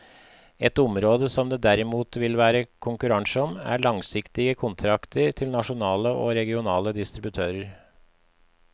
Et område som det derimot vil være konkurranse om, er langsiktige kontrakter til nasjonale og regionale distributører.